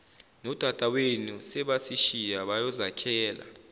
nodadawenu sebasishiya bayozakhela